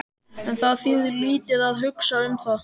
En það þýðir lítið að hugsa um það.